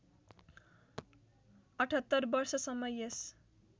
७८ वर्षसम्म यस